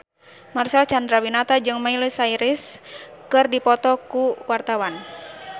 Marcel Chandrawinata jeung Miley Cyrus keur dipoto ku wartawan